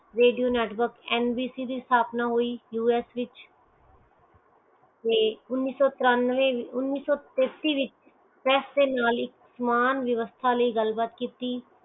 radio networkNBC ਆਪਣਾ us ਵਿਚ ਤੇ ਉਨੀਸੋ ਤੇਸਤਿਸ ਵਿਚ ਪ੍ਰੈਸ ਦੇ ਨਾਲ ਹੀ ਸਮਾਂ ਵਯਾਵਸਤਾ ਨਾਲ ਗੱਲ ਬਾਤ ਕੀਤੀ